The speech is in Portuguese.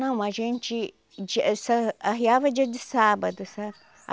Não, a gente de sa arriava dia de sábado, sabe?